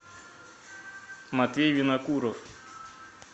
матвей винокуров